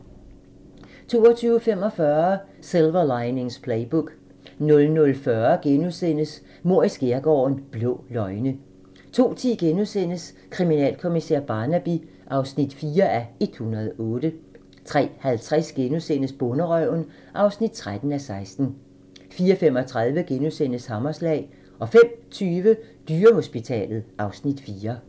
22:45: Silver Linings Playbook 00:40: Mord i skærgården: Blå løgne * 02:10: Kriminalkommissær Barnaby (4:108)* 03:50: Bonderøven (13:16)* 04:35: Hammerslag * 05:20: Dyrehospitalet (Afs. 4)